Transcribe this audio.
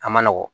A man nɔgɔn